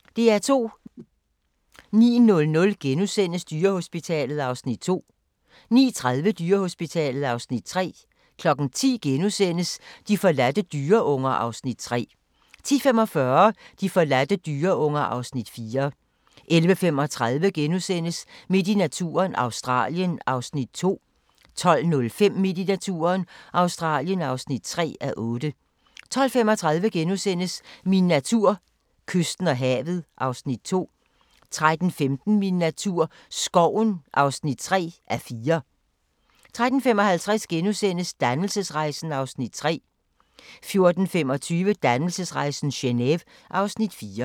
09:00: Dyrehospitalet (2:10)* 09:30: Dyrehospitalet (3:10) 10:00: De forladte dyreunger (Afs. 3)* 10:45: De forladte dyreunger (Afs. 4) 11:35: Midt i naturen – Australien (2:8)* 12:05: Midt i naturen – Australien (3:8) 12:35: Min natur: Kysten og havet (Afs. 2)* 13:15: Min natur - skoven (3:4) 13:55: Dannelsesrejsen (Afs. 3)* 14:25: Dannelsesrejsen - Geneve (Afs. 4)